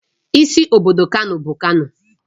Isi obodo Kano bụ Kano